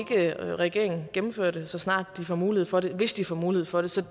regeringen gennemfører det så snart de får mulighed for det hvis de får mulighed for det så